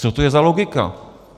Co to je za logiku?